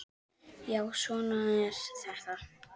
Já, svona er þetta.